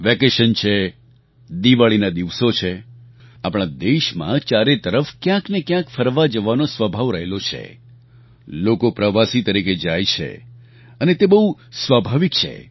vacation છે દિવાળીના દિવસો છે આપણા દેશમાં ચારે તરફ ક્યાંક ને ક્યાંક ફરવા જવાનો સ્વભાવ રહેલો છે લોકો પ્રવાસી તરીકે જાય છે અને તે બહુ સ્વાભાવિક છે